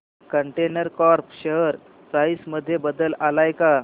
container corp share price मध्ये बदल आलाय का